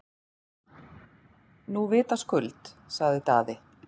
Nú vitaskuld, sagði Daði.